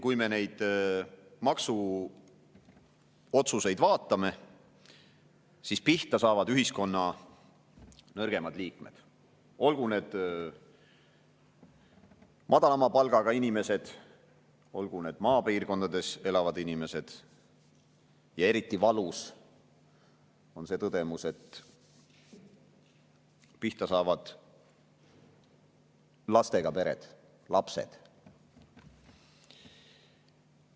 Kui me neid maksuotsuseid vaatame, siis pihta saavad ühiskonna nõrgemad liikmed, olgu need madalama palgaga inimesed, olgu need maapiirkondades elavad inimesed, ja eriti valus on see tõdemus, et pihta saavad lastega pered, lapsed.